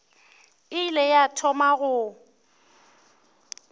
e ile ya thoma go